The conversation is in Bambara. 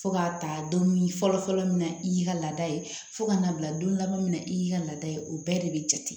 Fo k'a ta don fɔlɔfɔlɔ min na i y'i ka laada ye fo ka na bila don laban min na i y'i ka laada ye o bɛɛ de be jate